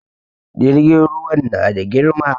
Jirgin ruwan na da girma